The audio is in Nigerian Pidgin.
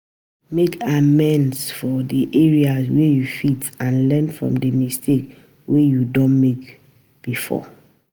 Make amend for di areas wey you fit and learn from di mistakes wey you don make before